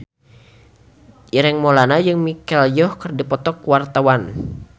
Ireng Maulana jeung Michelle Yeoh keur dipoto ku wartawan